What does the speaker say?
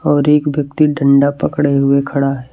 और एक व्यक्ति डंडा पकड़े हुए खड़ा है।